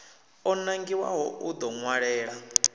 o nangiwaho u ḓo ṅwalela